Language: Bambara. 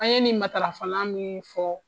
An ye nin matarafana min fɔ.